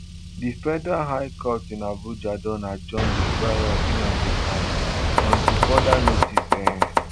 di federal high court in abuja don adjourn di trial of nnamdi kanu until further notice um